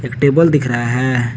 Table दिख रहा है।